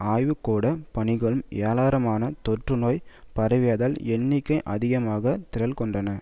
ஆய்வுக்கூட பணிகளும் ஏராளமான தொற்றுநோய் பரவியதால் எண்ணிக்கை அதிகமாக திரள்கொண்டன